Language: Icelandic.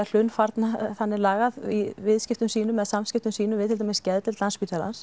hlunnfarna þannig lagað í viðskiptum sínum eða samskiptum sínum við til dæmis geðdeild